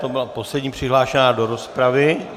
To byla poslední přihlášená do rozpravy.